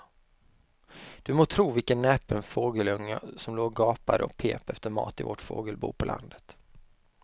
Du må tro vilken näpen fågelunge som låg och gapade och pep efter mat i vårt fågelbo på landet.